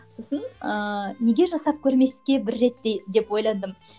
сосын ыыы неге жасап көрмеске бір реттей деп ойландым